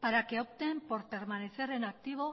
para que opten por permanecer en activo